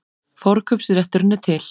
Forkaupsrétturinn er til.